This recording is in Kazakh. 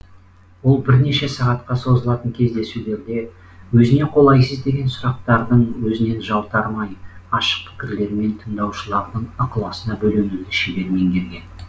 ол бірнеше сағатқа созылатын кездесулерде өзіне қолайсыз деген сұрақтардың өзінен жалтармай ашық пікірлерімен тыңдаушылардың ықыласына бөленуді шебер меңгерген